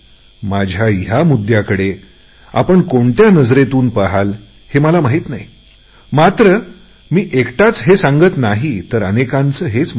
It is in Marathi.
माझ्या या मुद्दयांना आपण कोणत्या भावनेतून घ्याल याची मला माहिती नाही मात्र मी एकटाच हे सांगत नाही तर अनेकांचे हेच मत आहे